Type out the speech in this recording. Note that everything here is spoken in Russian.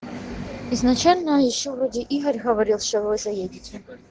изначально ещё вроде игорь говорил что вы заедете